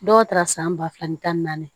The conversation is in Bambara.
Dɔw taara san ba fila ni tan ni naani